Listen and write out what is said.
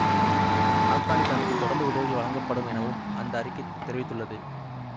ஆப்கானித்தானுக்கு தொடர்ந்து உதவிகள் வழங்கப்படும் எனவும் அந்த அறிக்கை தெரிவித்துள்ளது